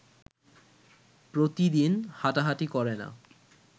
প্রতিদিন হাঁটাহাঁটি করে না